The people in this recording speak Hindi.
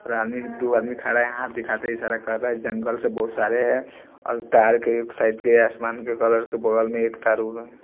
दो आदमी खारहा है हाथ दिखाते इशारा कर रहा है जंगल से बहुत सारे हैं और तार के एक साइड के आसमान के कलर के बगल में एक तार ब--